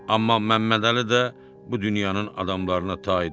Amma Məmmədəli də bu dünyanın adamlarına taydı.